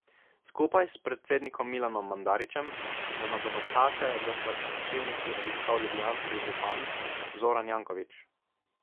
Skupaj s predsednikom Milanom Mandarićem je nogometaše v slačilnici obiskal ljubljanski župan Zoran Janković.